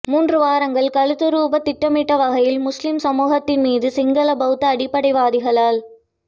மூன்று வாரங்கள் கழித்துரூபவ் திட்டமிட்ட வகையில் முஸ்லிம் சமூகத்தின்மீது சிங்கள பௌத்த அடிப்படைவாதிகளால்